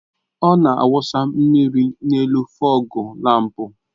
Ọ na-awụsa mmiri n'elu fọgu lámpu